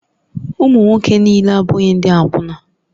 Ụmụ nwoke niile abụghị ndị akwụna